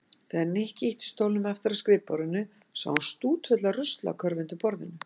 Þegar Nikki ýtti stólnum aftur að skrifborðinu sá hann stútfulla ruslakörfu undir borðinu.